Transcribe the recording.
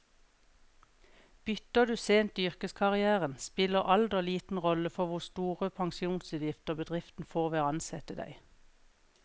Bytter du sent i yrkeskarrieren, spiller alder liten rolle for hvor store pensjonsutgifter bedriften får ved å ansette deg.